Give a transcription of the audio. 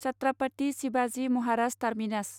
Chhatrapati Shivaji Maharaj terminus